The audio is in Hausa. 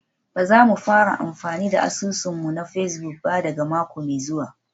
Ba za mu fara amfani da asusun mu na Facebook ba daga mako mai zuwa